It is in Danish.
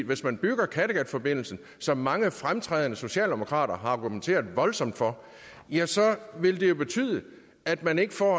hvis man bygger kattegatforbindelsen som mange fremtrædende socialdemokrater har argumenteret voldsomt for ja så vil det jo betyde at man ikke får